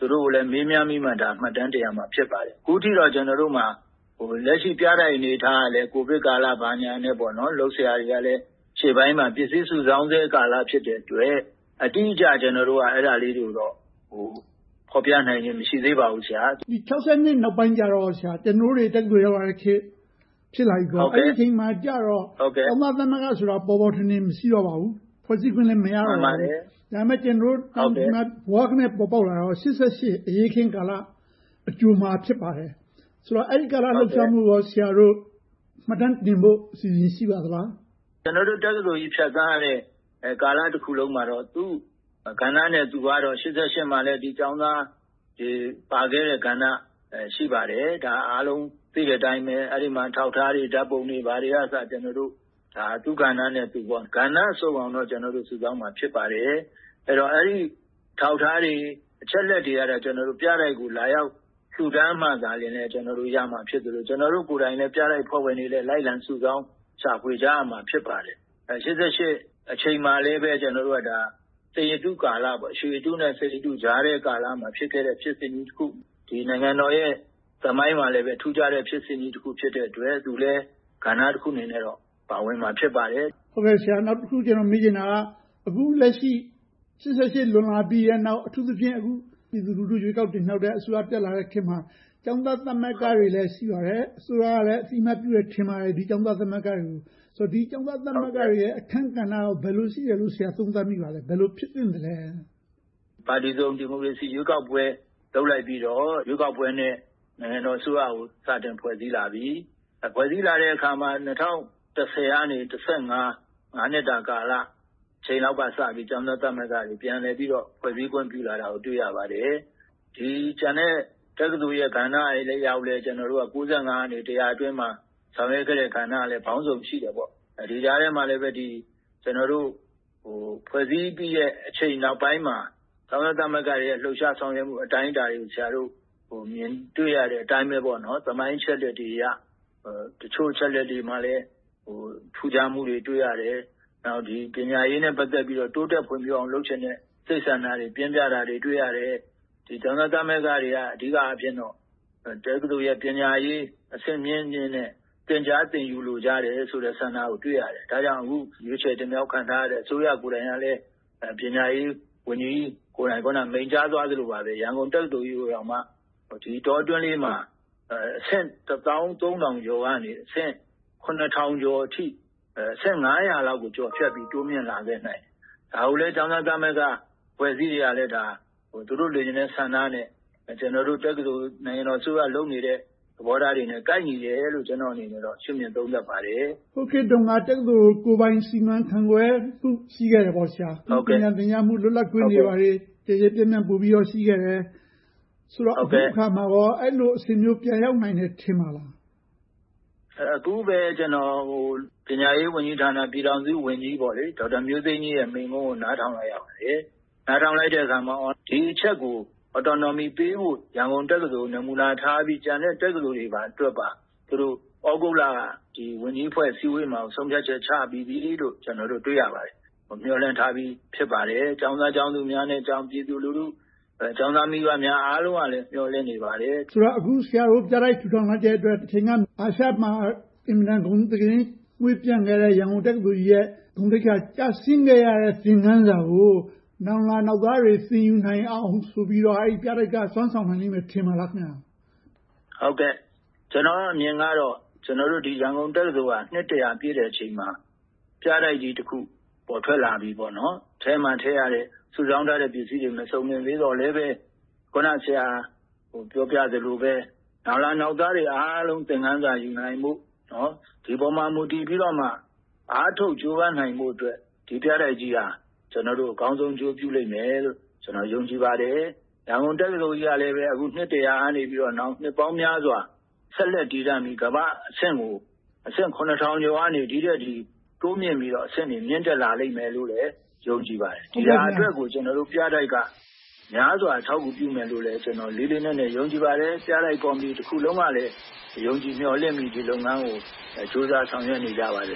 ကိုလည်း မေးမြန်းပြီးတော့မှ မှတ်တမ်းတင်ရမှာ ဖြစ်ပါတယ်။ အခုထက်ထိတော့ လက်ရှိပြတိုက်အနေအထားကလည်း ကိုဗစ်ကာလ ဘာညာအတားအဆီးတွေနဲ့ လုပ်စရာတွေလည်း ရှေ့ပိုင်းမှာ ပစ္စည်းစုဆောင်းဆဲကာလ ဖြစ်တဲ့အတွက် အတိအကျ ကျနော်တို့က ဖော်ပြနိုင်ခြင်း မရှိသေးပါဘူး။ ဒီ ၁၉၆၂ နောက်ပိုင်း ကျနော်တို့တွေ တက္ကသိုလ် ရောက်လာတဲ့ခေတ် ဖြစ်လာပြီဆိုတော့ အဲဒီခေတ်ရောက်တော့ ကျောင်းသားသမဂ္ဂဆိုတာ ပေါ်ပေါ်ထင်ထင် မရှိတော့ပါဘူး။ ဖွဲ့စည်းခွင့်လည်း မရတော့ပါဘူး။ ဒါပေမဲ့ ဒီမှာ ဘွားကနဲ ပေါ်ပေါက်လာတာကတော့ ၈၈ အရေးအခင်းကာလ အကြိုမှာ ဖြစ်ပါတယ်။ ဆိုတော့ အဲဒီကာလလှုပ်ရှားမှုကို ဆရာတို့ မှတ်တမ်းတင်ဖို့ အစီအစဉ် ရှိပါသလား။ ကျနော်တို့ တက္ကသိုလ်ကြီး ဖြတ်သန်းခဲ့တဲ့ ကာလတစ်ခုလုံးမှာတော့ သူ့ကဏ္ဍနဲ့သူကတော့ ၈၈ မှာ ကျောင်းသားတွေ ပါဝင်ခဲ့တဲ့ကာလ ရှိပါတယ်။ ဒါက အားလုံးသိတဲ့အတိုင်း အဲဒီမှာ အထောက်အထားတွေ ဓါတ်ပုံတွေကအစ ကျနော်တို့ သူ့ကဏ္ဍနဲ့သူ ကဏ္ဍစုံအောင်တောင် ကျနော်တို့ စုဆောင်းမှာ ဖြစ်ပါတယ်။ အဲဒီအထောက်အထားတွေ၊ အချက်အလက်တွေကတော့ ပြတိုက်ကို လာရောက်လှုဒါန်းမှသာ ကျနော်တို့ ရရှိမှာ ဖြစ်သလို၊ ကျနော်တို့ကိုယ်တိုင်လည်း ပြတိုက်အဖွဲ့ဝင်တွေလည်း လိုက်လံစုဆောင်း ရှာဖွေကြရမှာ ဖြစ်ပါတယ်။ ၁၉၈၈ အချိန်မှာလည်း စိန်ရတုကာလ၊ ရွှေရတုနဲ့ စိန်ရတုကြားကာလ ဖြစ်ခဲ့တဲ့ ဖြစ်စဉ်ကြီးတစ်ခု။ နိုင်ငံတော်ရဲ့ သမိုင်းမှာလည်း ထူးခြားတဲ့ ဖြစ်စဉ်ကြီးတစ်ခုဖြစ်တဲ့အတွက် သူလည်း ကဏ္ဍတစ်ခုအနေနဲ့ ပါဝင်မှာ ဖြစ်ပါတယ်။ နောက်တစ်ခု ကျနော်မေးချင်တာက အခုလက်ရှိ ၈၈ လွန်လာပြီးနောက် အထူးသဖြင့် အခုပြည်သူလူထု ရွေးကောက်တင်မြှောက်ခဲ့တဲ့ အစိုးရ တက်လာတဲ့ခေတ်မှာ ကျောင်းသားသမဂ္ဂတွေလည်း ရှိပါတယ်။ အစိုးရကလည်း အသိအမှတ် ပြုမယ်လို့ ထင်ပါတယ်။ ဒီ ကျောင်းသားသမဂ္ဂတွေရဲ့ အခန်းကဏ္ဍ ဘယ်လိုရှိတယ်လို့ ဆရာ သုံးသပ်မိပါသလဲ။ ဘယ်လိုဖြစ်သင့်သလဲ။ ပါတီစုံ ရွေးကောက်ပွဲ လုပ်လိုက်ပြီးတော့ ရွေးကောက်ပွဲနဲ့ နိုင်ငံတော်အစိုးရကို စတင်ဖွဲ့စည်းလာပြီ။ ဖွဲ့စည်းလာတဲ့အခါမှာ ၂၀၁၀ ကနေ ၂၀၁၅ နှစ်တာကာလ အချိန်လောက်ကစပြီး ကျောင်းသားသမဂ္ဂတွေ ပြန်လည်ပြီးတော့ ဖွဲ့စည်းခွင့်ပြုလာတာကို တွေ့ရပါတယ်။ ကျန်တဲ့ တက္ကသိုလ်ကဏ္ဍတွေအလျောက်လည်း ၁၉၉၅ ကနေ တစ်ရာအတွင်းမှာ ဆောင်ရွက်ခဲ့တဲ့ အခန်းကဏ္ဍတွေကလည်း ပေါင်းစုံရှိတော့ ဒီကဏ္ဍတွေနဲ့အတူ ဒီကြားထဲမှာ ဖွဲ့စည်းပြီးတဲ့ အချိန်နောက်ပိုင်းမှာ ကျောင်းသားသမဂ္ဂတွေရဲ့ ဖွဲ့စည်းလှုပ်ရှားပုံ အတိုင်းအတာတွေကို ဆရာတို့ မြင်တွေ့ရတဲ့အတိုင်းပဲ သမိုင်းအချက်အလက်တွေအရ တချို့အချက်အလက်တွေမှာလဲ ထူးခြားမှုတွေ တွေ့ရတယ်။ နောက် ပညာရေးနဲ့ ပတ်သက်ပြီးတော့ တိုးတက်ဖွံ့ဖြိုးအောင် လုပ်ချင်တဲ့ စိတ်ဆန္ဒတွေ ပြင်းပြတာတွေ တွေ့ရတယ်။ ကျောင်းသားသမဂ္ဂတွေက အဓိကအားဖြင့်တော့ တက္ကသိုလ်ရဲ့ ပညာရေးကို အဆင့်မြင့်မြင့်နဲ့ သင်ကြားသင်ယူလိုချင်ကြတဲ့ဆိုတဲ့ စိတ်ဆန္ဒကို တွေ့ရတယ်။ ဒါကြောင့် အခုရွေးချယ်တင်မြှောက်ခံထားရတဲ့ အစိုးရကိုယ်တိုင်ကလည်း ပညာရေးဝန်ကြီးကိုယ်တိုင် မိန့်ကြားသလို ရန်ကုန်တက္ကသိုလ်ကြီးကို ဒီအတောအတွင်းလေးမှာ အဆင့် တစ်သောင်းသုံးထောင်ကျော်ကနေ အဆင့် ခုနှစ်ထောင်ကျော်အထိ အဆင့် ငါးရာလောက်ကို ကျော်ဖြတ်ပြီး တိုးမြှင့်လာခဲ့တယ်။ ဒါကိုလဲ ကျောင်းသားသမဂ္ဂအဖွဲ့အစည်းတွေကလည်း သူတို့လိုချင်တဲ့ ဆန္ဒနဲ့ ကျနော်တို့ နိုင်ငံတော်အစိုးရ လုပ်နေတဲ့ သဘောထားတွေနဲ့ ကိုက်ညီတယ်လို့ ကျနော့်အနေနဲ့ ရှုမြင်သုံးသပ်ပါတယ်။ ဟိုခေတ်တုန်းက တက္ကသိုလ်ဆိုတာ ကိုယ်ပိုင်စီမံအုပ်ချုပ် ဖန်တီးခွင့် ရှိခဲ့တယ်။ ပညာသင်ကြားမှု လွတ်လပ်ခွင့်တွေ ကျယ်ကျယ်ပြန့်ပြန့် ပိုပြီးတော့ ရှိခဲ့တယ်။ ဆိုတော့ အခုအခါမှာကော အဲဒီလိုအဆင့်မျိုး ပြန်ရောက်နိုင်မယ် ထင်ပါသလား။ အခုပဲ ပညာရေးဝန်ကြီးဌာန ပြည်ထောင်စုဝန်ကြီး ဒေါက်တာမျိုးသိမ်းကြီးရဲ့ မိန့်ခွန်းကို နားထောင်လိုက်ရပါတယ်။ နားထောင်လိုက်တဲ့အခါမှာ ဒီအချက်ကို autonomy ပေးဖို့ ရန်ကုန်တက္ကသိုလ်ကို နမူနာထားပြီးတော့ ကျန်တဲ့တက္ကသိုလ်တွေအတွက်ပါ သူတို့တွေ သြဂုတ်လက ဝန်ကြီးအဖွဲ့အစည်းအဝေးမှာ ဆုံးဖြတ်ချက်ချပြီးပြီလို့ ကျနော်တို့ တွေ့ရပါတယ်။ မျှော်လင့်ထားပြီး ဖြစ်ပါတယ်။ ကျောင်းသားကျောင်းသူများနဲ့ ပြည်သူလူထု ကျောင်းသားမိဘများအားလုံးကလည်း မျှော်လင့်နေပါတယ်။ ဆိုတော့ အခု ဆရာတို့ပြတိုက်ထူထောင်လိုက်တဲ့အတွက် တချိန်က အာရှမှာ အင်မတန် ဂုဏ်သတင်းမွှေးပျံခဲ့တဲ့ ရန်ကုန်တက္ကသိုလ်ကြီး ကျဆင်းခဲ့ရတဲ့ သင်ခန်းစာကို နောင်လာနောင်သားတွေ သင်ယူနိုင်အောင်ဆိုပြီးတော့ အဲဒီပြတိုက်က စွမ်းဆောင်နိုင်လိမ့်မယ် ထင်ပါသလား။ ကျနော့်အမြင်ကတော့ ရန်ကုန်တက္ကသိုလ်က နှစ် ပြည့်တဲ့အချိန်မှာ ပြတိုက်ကြီးတစ်ခု ပေါ်ထွက်လာခဲ့ပြီပေါ့။ အထဲမှာ ထည့်ရတဲ့ စုဆောင်းထားတဲ့ ပစ္စည်းတွေ မစုံလင်သေးပေမယ့်လဲ အခုန ဆရာပြောပြသလိုပဲ နောင်လာနောင်သားတွေ အားလုံးသင်ခန်းစာယူနိုင်ဖို့၊ ဒီပေါ်မှာ မူတည်ပြီးတော့မှ အားထုတ်ကြိုးပမ်းနိုင်ဖို့အတွက် ဒီပြတိုက်ကြီးက အကောင်းဆုံးအကျိုးပြုလိမ့်မယ်လို့ ယုံကြည်ပါတယ်။ ရန်ကုန်တက္ကသိုလ်ကြီးကလည်း အခု နှစ် ကနေ နောင်နှစ်ပေါင်းများစွာ ဆက်လက်တည်တန့်ပြီး ကမ္ဘာ့အဆင့်ကို အဆင့် ခုနှစ်ထောင်ကျော်ကနေ ဒီထက်တိုးမြှင့်ပြီးတော့ အဆင့်တွေ မြင့်တက်လာလိမ့်မယ်လို့ ယုံကြည်ပါတယ်။ ဒီအတွက်ကို ကျနော်တို့ ပြတိုက်က များစွာအထောက်အကူ ပြုမယ်လို့လည်း ကျနော် လေးလေးနက်နက် ယုံကြည်ပါတယ်။ ပြတိုက်ကော်မတီတစ်ခုလုံးကလည်း ယုံကြည်မျှော်လင့်ပြီး ဒီလုပ်ငန်းကို ကြိုးစားဆောင်ရွက်နေကြပါတယ်